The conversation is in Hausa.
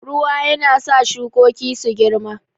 Ruwa yana sa shukoki su girma.